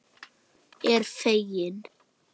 Er fegin.